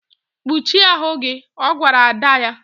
Kpuchie ahụ gị! Ọ gwara ada ya.